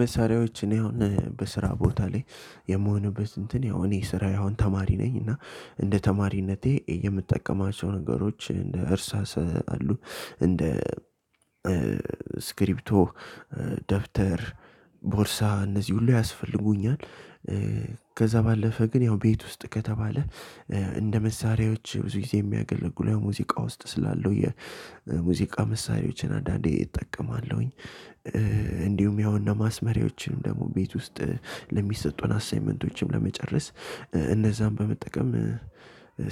መሳሪያዎች እኔ አሁን በስራ ቦታ ላይ የምሆንበት እንትን ያው እኔ ስራዬ አሁን ተማሪ ነኝ እና እንደ ተማሪነቴ የምጠቀማቸው ነገሮች እንደ እርሳስ አሉ እንደ እስክሪብቶ፣ ደብተር፣ ቦርሳ እነዚህ ሁሉ ያስፈልጉኛል። ከዛ ባለፈ ግን ያው ቤት ውስጥ ከተባለ እንደ መሳሪያዎች ብዙ ጊዜ የሚያገለግሉ ያው የሙዚቃ ውስጥ ስላለው የሙዚቃ መሳሪያዎችን አንዳንዴ እጠቀማለሁኝ እንዲሁም ያው እነ ማስመሪያዎችን ደግሞ ቤት ውስጥ ለሚሰጡን አሳይመንቶችን ለመጨረስ እነዛን በመጠቀም